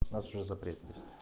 у нас уже запрет есть